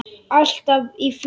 Alltaf í fléttu.